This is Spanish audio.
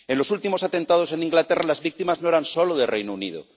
En los últimos atentados en Inglaterra las víctimas no eran solo del Reino Unido.